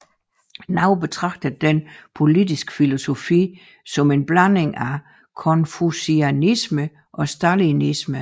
Nogle betragter denne politiske filosofi som en blanding af konfucianisme og stalinisme